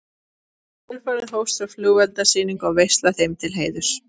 Í kjölfarið hófst svo flugeldasýning og veisla þeim til heiðurs.